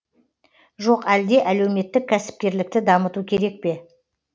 жоқ әлде әлеуметтік кәсіпкерлікті дамыту керек пе